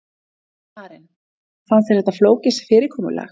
Karen: Fannst þér þetta flókið fyrirkomulag?